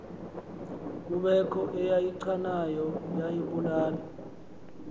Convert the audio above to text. kubekho eyichanayo yayibulala